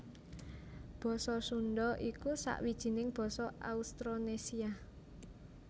Basa Sundha iku sawijining basa Austronésia